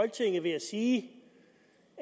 er i det